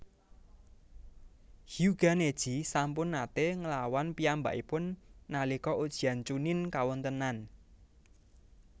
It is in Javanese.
Hyuuga Neji sampun naté nglawan piyambakipun nalika ujian Chunnin kawontênan